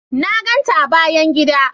Na ganta a bayan gida.